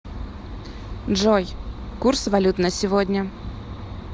джой курс валют на сегодня